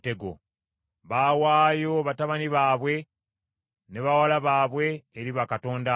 Baawaayo batabani baabwe ne bawala baabwe eri bakatonda abo.